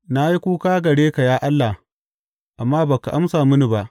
Na yi kuka gare ka ya Allah, amma ba ka amsa mini ba.